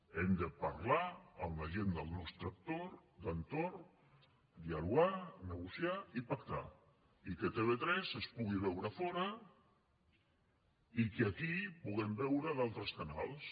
hem de parlar amb la gent del nostre entorn dialogar negociar i pactar i que tv3 es pugui veure fora i que aquí puguem veure d’altres canals